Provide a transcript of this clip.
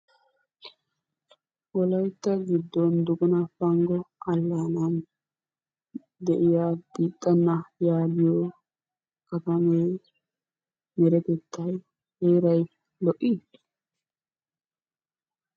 Wolaytta giddon duguna panggo allaanan de'iya biixxanna yaagiyo katamay deretettay, heeray lo"ii?